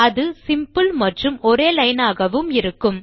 அது சிம்பிள் மற்றும் ஒரே லைன் ஆகவும் இருக்கும்